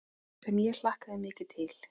Sem ég hlakka mikið til.